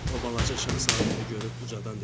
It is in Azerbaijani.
O balaca Şahzadəni görüb ucadan dedi: